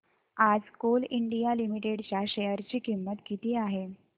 आज coal India limited च्या share ची किंमत किती आहे